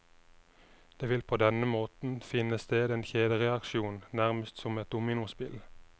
Det vil på denne måten finne sted en kjedereaksjon, nærmest som et dominospill.